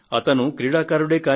అతను క్రీడాకారుడే